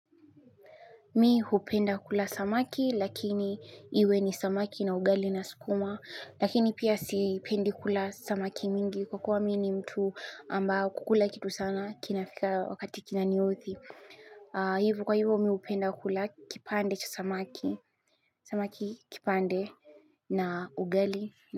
Mi hupenda kula samaki lakini iwe ni samaki na ugali na sukuma lakini pia sipendi kula samaki mingi kwa kuwa mi ni mtu ambao kukula kitu sana kinafika wakati kina niudhi. Hivo kwa hivo mi hupenda kula kipande cha samaki, samaki kipande na ugali.